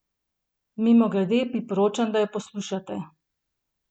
Mimogrede, priporočam, da jo poslušate!